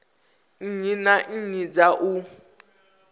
nnyi na nnyi dza u